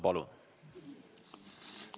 Palun!